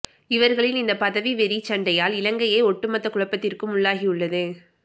இவர்களின் இந்த பதவி வெறி சண்டையால் இலங்கையே ஒட்டுமொத்த குழப்பத்திற்கும் உள்ளாகியுள்ளது